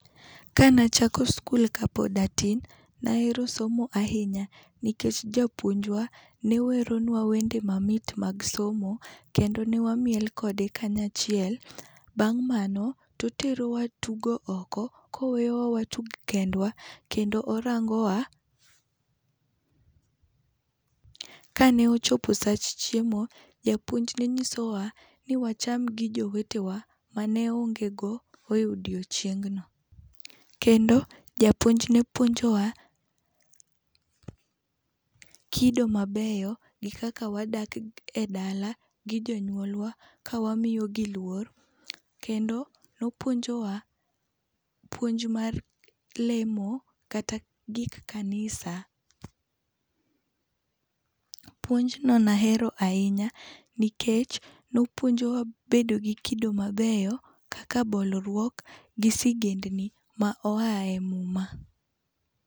Ka ne achako skul ka pod atin ne ahero somo ahinya nikech japuonj wa ne weronwa wende mamit mag somo kendo ne wamiel kode kanyachiel bang' mano to otero wa tugo oko ka oweyowa watug kendwa kendo orango wa .Ka ne ochopo sach chiemo japuonj ne ng'iso wa ni wacham gi jowete wa ma ne onge go e odieching. no kendo japuonj ne puonjowa kido mabeyo gi kaka wadak e dala gi jonyuolwa ka wamiyo gi luor kendo ne opuonjowa puonj mar lemo kata gik kanisa. Puonj no na hero ahinya nikech ne opuonjowa bedo gi kido mabeyo kaka bolruok gi sigendni ma oa e muma.